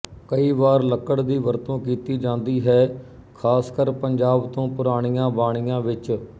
ਕਈ ਵਾਰ ਲੱਕੜ ਦੀ ਵਰਤੋਂ ਕੀਤੀ ਜਾਂਦੀ ਹੈ ਖ਼ਾਸਕਰ ਪੰਜਾਬ ਤੋਂ ਪੁਰਾਣੀਆਂ ਬਾਣੀਆਂ ਵਿਚ